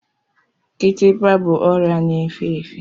Kitikpa bụ ọrịa na-efe efe.